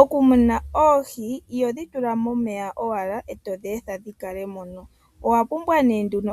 Okumuna oohi ihodhi tula momeya owala etodhi etha dhi kale mono, owa pumbwa